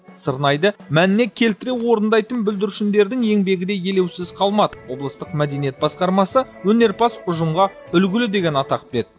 сырнайды мәніне келтіре орындайтын бүлдіршіндердің еңбегі де елеусіз қалмады облыстық мәдениет басқармасы өнерпаз ұжымға үлгілі деген атақ берді